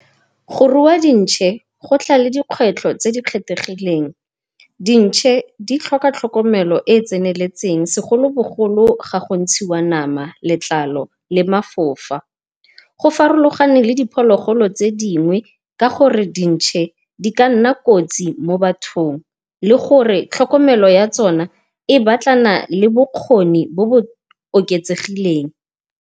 Go rua dintšhe go tla le dikgwetlho tse di kgethegileng. Dintšhe di tlhoka tlhokomelo e e tseneletseng, segolo bogolo ga go ntshiwa nama, letlalo le mafofa. Go farologane le diphologolo tse dingwe ka gore dintšhe di ka nna kotsi mo bathong, le gore tlhokomelo ya tsona e batlana le bokgoni bo bo oketsegileng.